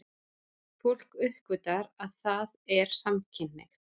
Fólk uppgötvar að það er samkynhneigt.